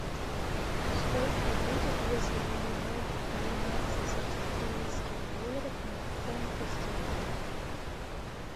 сколько будет если поменять двенадцать австралийских долларов на фунты стерлинга